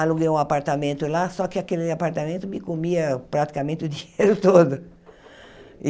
aluguei um apartamento lá, só que aquele apartamento me comia praticamente o dinheiro todo.